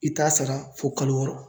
I t'a sara fɔ kalo wɔɔrɔ